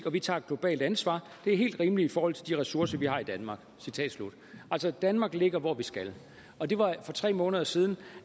og vi tager et globalt ansvar det er helt rimeligt i forhold til de ressourcer vi har i danmark citat slut altså danmark ligger hvor vi skal og det var for tre måneder siden